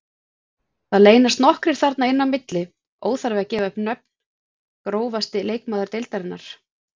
Það leynast nokkrir þarna inn á milli, óþarfi að gefa upp nöfn Grófasti leikmaður deildarinnar?